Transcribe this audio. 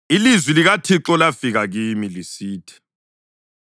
Ilizwi likaThixo lafika kimi lisithi,